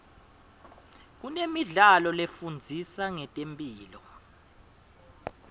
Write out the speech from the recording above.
kunemidlalo lefundisa ngetemphilo